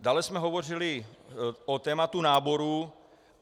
Dále jsme hovořili o tématu náboru.